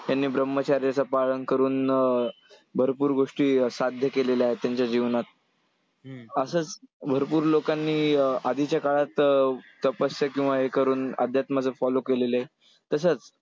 त्यांनी ब्रम्हचार्याचं पालन करून अं भरपूर गोष्टी साध्य केलेल्या आहेत त्यांच्या जीवनात. असंच भरपूर लोकांनी अं आधीच्या काळात तपस्या किंवा हे करून अध्यात्माचं follow केलेले आहेत. तसंच